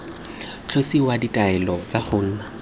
tlosiwa ditaelo tsa go nna